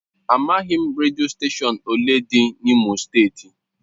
Amaghị m redio steshọn ole dị n'Imo steeti.